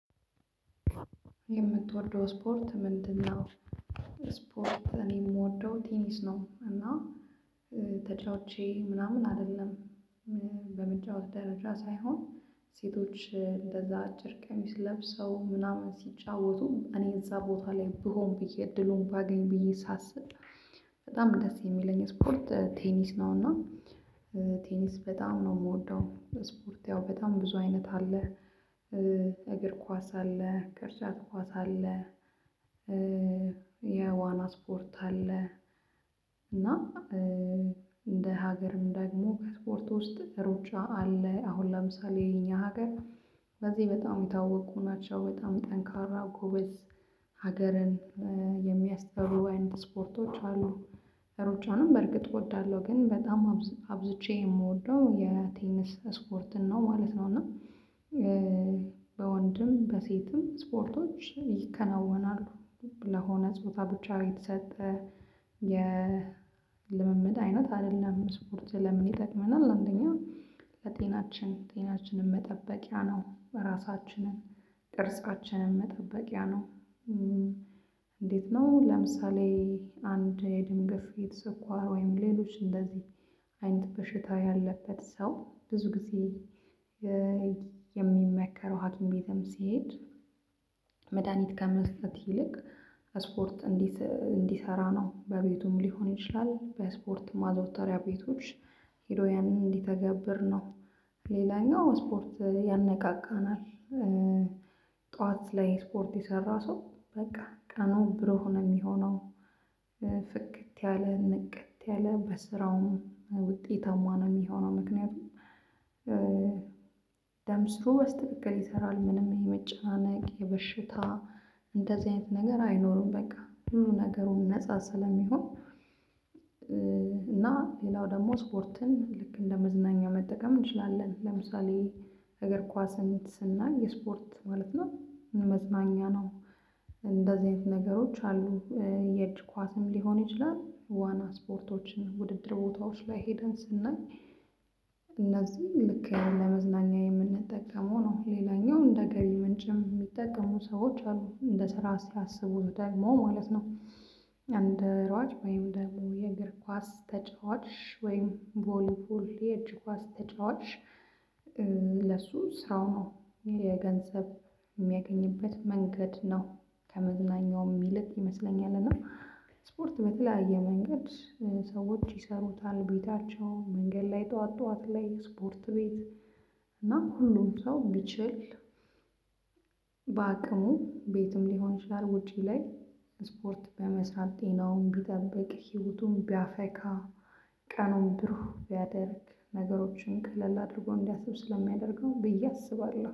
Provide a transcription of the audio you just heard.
የምትወደው ስፖርት ምንድነው? ስፖርት እኔ የምወደው ቲኒስ ነው። እና ተጫውቼ ምናምን አይደለም። በመጫወት ደረጃ ሳይሆን ሴቶች አጭር ቀሚስ ለብሰው ምናምን ሲጫወቱ እኔ እዛ ቦታ ላይ ብሆን ብዬ እድሉን ባገኝ ብዬ ሳስብ በጣም ደስ የሚለኝ ስፖርት ቴኒስ ነው። እና ቴኒስ በጣም ነው የምወደው። ስፖርት ያው በጣም ብዙ አይነት አለ። እግር ኳስ አለ፣ ቅርጫት ኳስ አለ፣ የዋና ስፖርት አለ። እና እንደ ሀገርም ደግሞ ከስፖርት ውስጥ ሩጫ አለ። አሁን ለምሳሌ ይሄኛ ሀገር በዚህ በጣም የታወቁ ናቸው። በጣም ጠንካራ ጎበዝ ሀገርን የሚያስጠሩ አይነት ስፖርቶች አሉ። ሩጫንም በርግጥ እወዳለሁ። ግን በጣም አብዝቼ የምወደው የቴነስ ስፖርት ነው ማለት ነው። እና በወንድም በሴትም ስፖርቶች ይከናወናሉ። ለሆነ ጾታ ብቻ የተሰጠ የልምምድ አይነት አይደለም። ስፖርት ለምን ይጠቅመናል አንደኛ ለጤናችን ጤናችንን መጠበቂያ ነው። ራሳችንን ቅርጻችንን መጠበቂያ ነው። እንዴት ነው ለምሳሌ አንድ የደም ግፊት፣ ስኳር ወይም ሌሎች እንደዚህ አይንት በሽታ ያለበት ሰው ብዙ ጊዜ የሚመከረው ሀኪም ቤትም ሲሄድ መድሃኒት ከመስጠት ይልቅ ስፖርት እንዲሰራ ነው። በቤቱም ሊሆን ይችላል በስፖርት ማዘውተሪያ ቤቶች ሄዶ ያንን እንዲተገብር ነው። ሌላኛው ስፖርት ያነቃቃናል። ጠዋት ላይ ስፖርት የሰራ ሰው በቃ ቀኑ ብሩህ ሆነ የሚሆነው ፍክት ያለ ንቅት ያለ በስራውም ውጤታማ ነው የሚሆነው። ምክንያቱም ደም ስሩ በስትክክል ይሰራል። ምንም ይሄ መጨናነቅ የበሽታ እንደዚህ አይነት ነገር አይኖርም። በቃ ሁሉ ነገሩን ነፃ ስለሚሆን ሌላው ደግሞ ስፖርትን ልክ እንደ መዝናኛ መጠቀም እንችላለን። ለምሳሌ እግር ኳስ አይነት ስናይ የስፖርት ማለት ነው መዝናኛ ነው። እንደዚህ አይነት ነገሮች አሉ። የእጅ ኳስም ሊሆን ይችላል ዋና ስፖርቶችን ውድድር ቦታዎች ላይ ሄደን ስናይ ልክ ለመዝናኛ የምንጠቀመው ነው። ሌላኛው እንደ ገቢ ምንጭም የሚጠቀሙ ሰዎች አሉ። እንደ ስራ ሲያስቡ ደግሞ ማለት ነው። እንደ ሯጭ ወይም ደግሞ የእግር ኳስ ተጫዋች ወይም ቦሊቦል የእጅ ኳስ ተጫዋች ለሱ ስራው ነው። የገንዘብ የሚያገኝበት መንገድ ነው። ከመዝናኛው ይልቅ ይመስለኛል እና ስፖርት በተለያየ መንገድ ሰዎች ይሰሩታል። ቤታቸው፣ መንገድ ላይ ጠዋት ጠዋት ላይ፣ ስፖርት ቤት እና ሁሉም ሰው ቢችል በአቅሙ ቤትም ሊሆን ይችላል ውጪ ላይ ስፖርት በመስራት ጤናውን ቢጠብቅ ህይወቱን ቢያፈካ ቀኑን ብሩህ ቢያደርግ ነገሮችን ቀለል አድርጎ እንዲያስብ ስለሚያደርገው ብዬ አስባለሁ።